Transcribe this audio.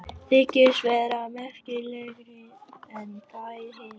Þykist vera merkilegri en þær hinar.